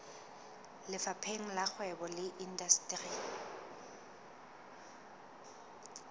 lefapheng la kgwebo le indasteri